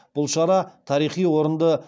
бұл шара тарихи орынды